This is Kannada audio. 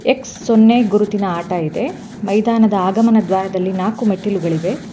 ಎಕ್ಸ್ ಸೊನ್ನೇ ಗುರುತಿನ ಆಟ ಇದೆ ಮೈದಾನದ ಆಗಮನ ದ್ವಾರದಲ್ಲಿ ನಾಕು ಮೆಟ್ಟಿಲುಗಳಿವೆ.